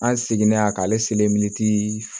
An seginen a k'ale